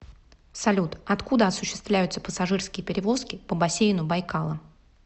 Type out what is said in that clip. салют откуда осуществляются пассажирские перевозки по бассейну байкала